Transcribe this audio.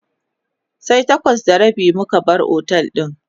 sai takwas da rabi muka bar otel din